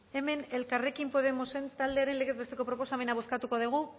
hemen elkarrekin podemosen taldearen legez besteko proposamena bozkatuko dugu